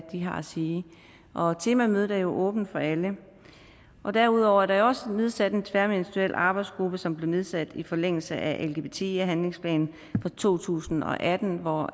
har at sige og temamødet er jo åbent for alle derudover er der jo også nedsat en tværministeriel arbejdsgruppe som blev nedsat i forlængelse af lgbti handlingsplanen fra to tusind og atten og